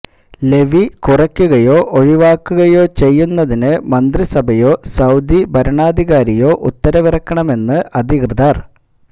levy കുറക്കുകയോ ഒഴിവാക്കുകയോ ചെയ്യുന്നതിന് മന്ത്രിസഭയോ സഊദി ഭരണാധികാരിയോ ഉത്തരവിറക്കണമെന്ന് അധികൃതര്